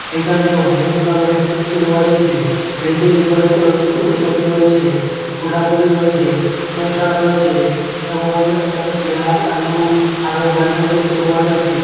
এখানে অনেক গুলা আবার র্যাক দেখতে পাওয়া যাচ্ছে র্যাকের উপরে ক ওল কপি রয়েচে কুঠাকপি রয়েচে শসা রয়েচে এবং এখানে পেঁয়াজ আলু আরো গাজর দেখতে পাওয়া যাচ্ছে।